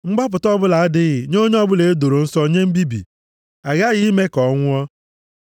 “ ‘Mgbapụta ọbụla adịghị nye onye ọbụla e doro nsọ nye mbibi. A ghaghị ime ka ọ nwụọ.